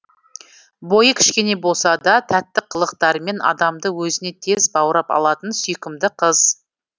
бойы кішкене болса да тәтті қылықтарымен адамды өзіне тез баурап алатын сүйкімді қыз